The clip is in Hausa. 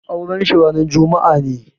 Auren shi ranar juma'a ne.